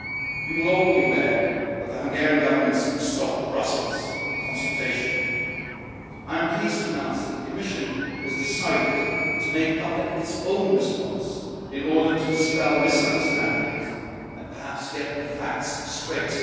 You will all be aware of the Hungarian Government's Stop Brussels' consultation. I am pleased to announce that the Commission has decided to make public its own response in order to dispel misunderstandings and perhaps get the facts straight.